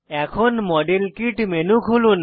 এখন model kit menu খুলুন